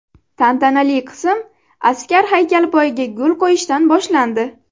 Tantanali qism askar haykali poyiga gul qo‘yishdan boshlandi.